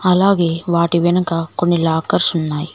అలాగే వాటి వెనక కొన్ని లాకర్స్ ఉన్నాయ్.